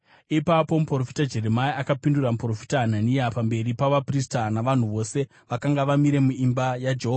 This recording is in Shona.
Ipapo muprofita Jeremia akapindura muprofita Hanania pamberi pavaprista navanhu vose vakanga vamire muimba yaJehovha.